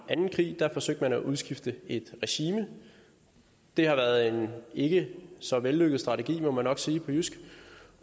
anden krig da forsøgte man at udskifte et regime det har været en ikke så vellykket strategi må man nok sige på jysk